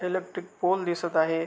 Electric pole दिसत आहे.